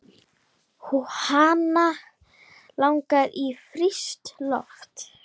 Hana langar í frískt loft.